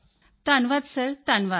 ਧੰਨਵਾਦ ਸਰ ਧੰਨਵਾਦ